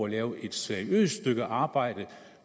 at lave et seriøst stykke arbejde